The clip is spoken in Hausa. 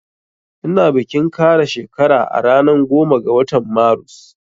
Ina bikin kara shekara na ranan goma ga watan marus